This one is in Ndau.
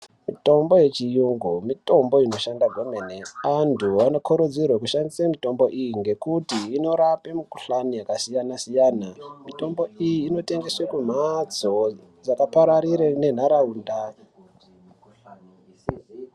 Mitombo yechiyungu mitombo inoshanda kwemene antu anokurudzirwe kushandise mitombo iyi ngekuti inorape mikuhlani yakasiyana siyana mitombo iyi inotengeswe kumhatso dzakapararire nenharaunda.